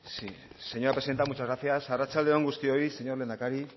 sí señora presidenta muchas gracias arratsalde on guztioi señor lehendakari